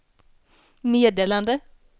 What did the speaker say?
meddelande